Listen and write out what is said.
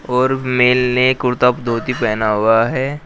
और मेल ने कुर्ता धोती पहना हुआ है।